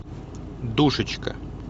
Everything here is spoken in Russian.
душечка